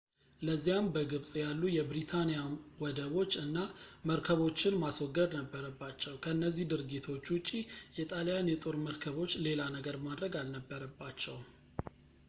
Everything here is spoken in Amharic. ለዚያም በግብጽ ያሉ የብሪታኒያን ወደቦች እና መርከቦችን ማስወገድ ነበረባቸው ከነዚህ ድርጊቶች ውጪ የጣልያን የጦር መርከቦች ሌላ ነገር ማድረግ አልነበረባቸውም